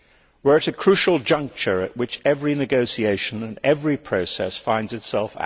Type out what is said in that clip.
We are at a crucial juncture, at which every negotiation and every process finds itself.